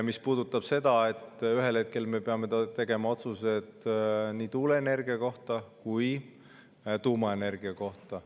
See puudutab seda, et ühel hetkel me peame tegema otsused nii tuuleenergia kui tuumaenergia kohta.